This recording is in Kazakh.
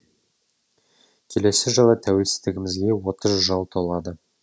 келесі жылы тәуелсіздігімізге отыз жыл толады